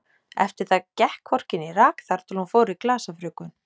Eftir það gekk hvorki né rak þar til hún fór í glasafrjóvgun.